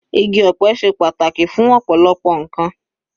Igi ọ̀pẹ ṣe pàtàkì fún ọ̀pọ̀lọpọ̀ ǹkan.